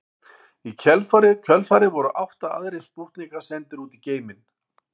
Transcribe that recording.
Í kjölfarið voru átta aðrir spútnikar sendir út í geiminn.